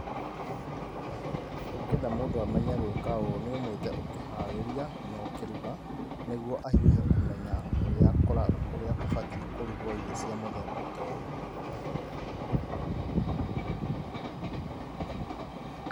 Ũgĩenda mũndũ amenye gwĩka ũũ nĩ ũmũĩte ũkĩharĩria na ũkĩruga, nĩguo ahiũhe kũmenya ũrĩa kũra ũrĩa kũbatiĩ kũrugwo irio cia mũthemba ta ũyũ.